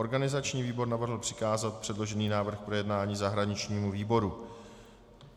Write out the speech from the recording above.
Organizační výbor navrhl přikázat předložený návrh k projednání zahraničnímu výboru.